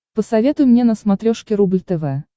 посоветуй мне на смотрешке рубль тв